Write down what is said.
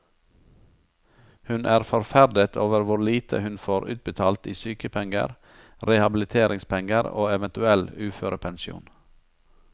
Hun er forferdet over hvor lite hun får utbetalt i sykepenger, rehabiliteringspenger og eventuell uførepensjon.